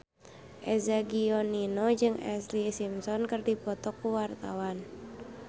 Eza Gionino jeung Ashlee Simpson keur dipoto ku wartawan